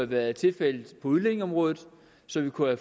været tilfældet på udlændingeområdet så vi kunne